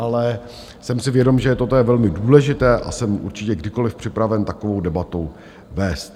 Ale jsem si vědom, že toto je velmi důležité, a jsem určitě kdykoliv připraven takovou debatou vést.